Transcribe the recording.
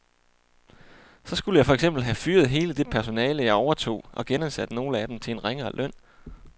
Så skulle jeg for eksempel have fyret hele det personale, jeg overtog, og genansat nogle af dem til en ringere løn.